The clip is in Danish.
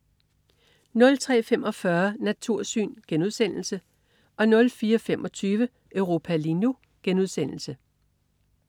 03.45 Natursyn* 04.25 Europa lige nu*